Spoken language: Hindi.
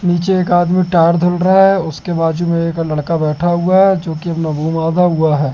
नीचे एक आदमी टायर धुल रहा है उसके बाजू में एक लड़का बैठा हुआ है जो की हुआ हैं।